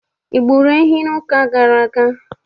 I gburu ehi n'ụka gara aga?